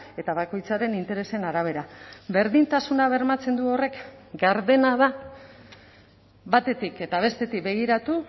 eta bakoitzaren interesen arabera berdintasuna bermatzen du horrek gardena da batetik eta bestetik begiratu